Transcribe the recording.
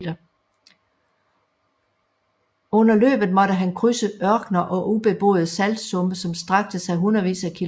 Under løbet måtte han krydse ørkener og ubeboede saltsumpe som strakte sig hundredvis af km